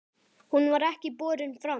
Hún var ekki borin fram.